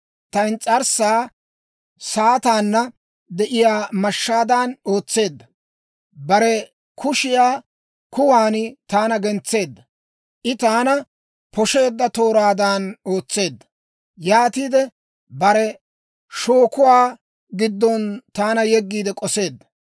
Ta ins's'arssaa saataanna de'iyaa mashshaadan ootseedda; bare kushiyaa kuwan taana gentseedda; I taana poshsheedda tooraadan ootseedda; yaatiide bare shookuwaa giddon taana yeggiide k'oseedda.